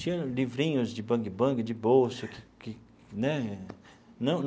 Tinha livrinhos de bang-bang de bolso que né não.